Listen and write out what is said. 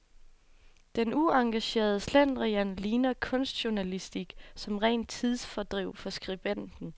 Denne uengagerede slendrian ligner kunstjournalistik som rent tidsfordriv for skribenten.